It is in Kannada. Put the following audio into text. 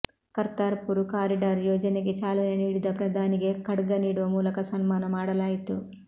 ಕರ್ತಾರ್ ಪುರ್ ಕಾರಿಡಾರ್ ಯೋಜನೆಗೆ ಚಾಲನೆ ನೀಡಿದ ಪ್ರಧಾನಿಗೆ ಖಡ್ಗ ನೀಡುವ ಮೂಲಕ ಸನ್ಮಾನ ಮಾಡಲಾಯಿತು